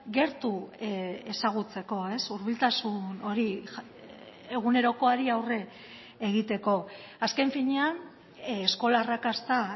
gertu ezagutzeko hurbiltasun hori egunerokoari aurre egiteko azken finean eskola arrakasta